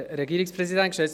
Kommissionssprecher